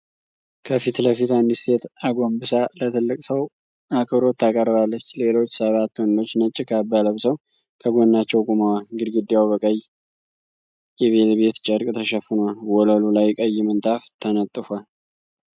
ከፊት ለፊት አንድ ሴት አጎንብሳ ለትልቅ ሰው አክብሮት ታቀርባለች። ሌሎች ሰባት ወንዶች ነጭ ካባ ለብሰው ከጎናቸው ቆመዋል። ግድግዳው በቀይ የቬልቬት ጨርቅ ተሸፍኗል፤ ወለሉ ላይ ቀይ ምንጣፍ ተነጥፏል።